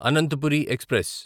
Ananthapuri express